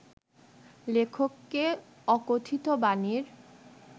লেখককে ‘অকথিত বাণী’র